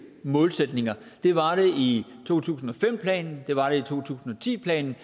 målsætninger det var det i to tusind og fem planen det var det i to tusind og ti planen